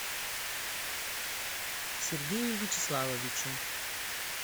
сергею вячеславовичу